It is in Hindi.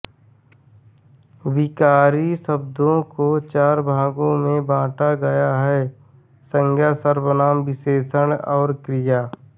विकारी शब्दों को चार भागों में बाँटा गया है संज्ञा सर्वनाम विशेषण और क्रिया